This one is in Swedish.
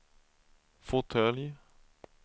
fåtölj